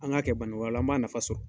An k'a kɛ bani, o la an b'a nafa sɔrɔ.